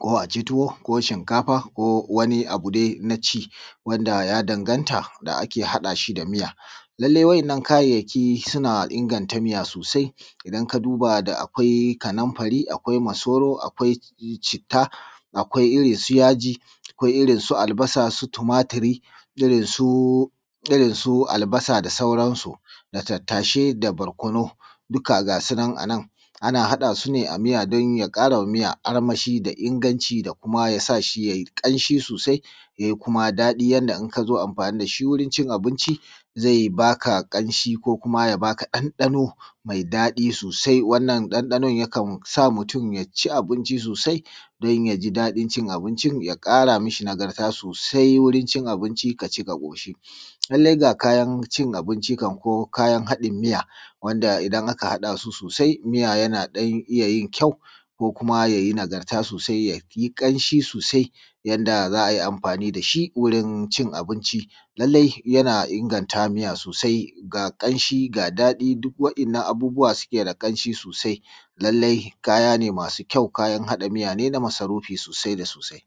kuma aci tuwo ko shinkafa ko wani abu dai na ci wanda ya danganta da ake haɗa shi da miya. Lalle wa’innan kayayyaki suna inganta miya sosai idan ka duba da akwai kanumfari akwai masoro akwai citta akwai akwai irin su albasa su tumatiri irin su albasa da sauransu, da tattasai da barkonu duka gasu nan anan, ana haɗasu ne a miya don ya ƙarama miya armashi da inganci da kuma yasa shi yayi kamshi sosai ya kuma yi daɗi yanda in ka zo amfani dashi wurin cin abinci zai baka ƙamshi ko kuma ya baka dandano mai daɗi sosai. Wannan dandanon ya kan sa mutum ya ci abinci sosai don ya ji daɗin cin abincin ya ƙara mashi nagarta sosai wurin cin abinci kaci ka ƙoshi. Lalle ga kayan cin abinci kan ko kayan haɗin miya wanda idan aka haɗasu sosai miya yana ɗan iya yin kyau ko kuma ya yi nagarta sosai wurin cin abinci kaci ka ƙoshi. Lalle ga kayan cin abinci kan ko kayan haɗin miya wanda idan aka haɗasu sosai miya yana ɗan iya yin kyau ko kuma ya yi nagarta sosai ya yi ƙanshi sosai yanda za’a yi amfani dashi wurin cin abinci, lalle yana inganta miya sosai ga kamshi ga daɗi duk wa’innan abubuwa su suke da ƙamshi sosai, lalle kaya ne masu kyau kayan haɗin miya na masarufi sosai da sosai.